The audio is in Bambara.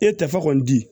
E tɛ fa kɔni di